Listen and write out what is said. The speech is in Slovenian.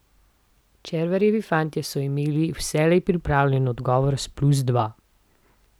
Červarjevi fantje so imeli vselej pripravljen odgovor z plus dva.